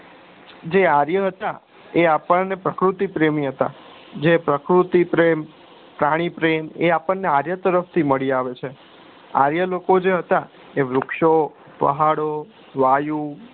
જે આર્ય હતા એ આપને પ્રકૃતિ પ્રેમી હતા જે પ્રકૃતિ પ્રેમ પ્રાણી પ્રેમ એ આપણે આર્ય તરફતી મળી આવે છે આર્ય લોકો જે હતા એ વૃક્ષ ઓ પહાડો વાયુ